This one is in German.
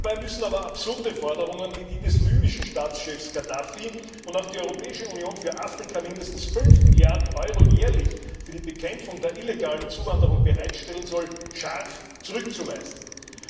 Dabei müssen aber absurde Forderungen wie die des libyschen Staatschefs Gaddafi, wonach die Europäische Union für Afrika mindestens 5 Milliarden Euro jährlich für die Bekämpfung der illegalen Zuwanderung bereitstellen soll, scharf zurückgewiesen werden.